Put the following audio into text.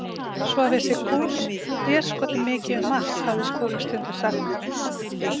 Svo vissi Goos déskoti mikið um margt, hafði Skúli stundum sagt.